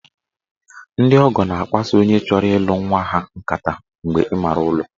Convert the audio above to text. Ndị ọgọ na-akpaso onye chọrọ ịlụ nwa ha nkata mgbe ịmaara ụlọ